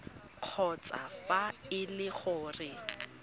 kgotsa fa e le gore